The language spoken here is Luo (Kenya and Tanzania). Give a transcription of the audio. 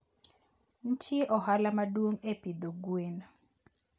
Ntie ohala maduong e pidho gwen.